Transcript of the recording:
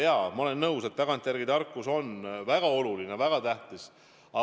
Jaa, ma olen nõus, et tagantjärele tarkus on väga oluline, väga tähtis.